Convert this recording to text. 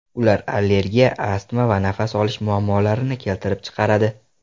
Ular allergiya, astma va nafas olish muammolarini keltirib chiqaradi.